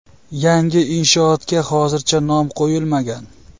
Yangi inshootga hozircha nom qo‘yilmagan.